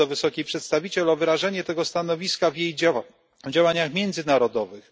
Apeluję do wysokiej przedstawiciel o wyrażenie tego stanowiska w jej działaniach międzynarodowych.